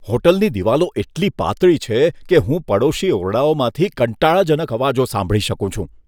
હોટલની દીવાલો એટલી પાતળી છે કે હું પડોશી ઓરડાઓમાંથી કંટાળાજનક અવાજો સાંભળી શકું છું.